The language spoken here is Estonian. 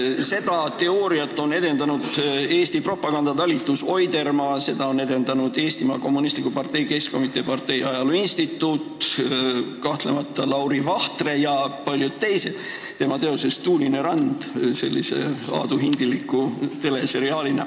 Seda teooriat on edendanud Eesti propagandatalitus eesotsas Oidermaaga, seda on edendanud Eestimaa Kommunistliku Partei Keskkomitee Partei Ajaloo Instituut, kahtlemata ka Lauri Vahtre ja paljud teised teoses "Tuulepealne maa", sellises aaduhindilikus teleseriaalis.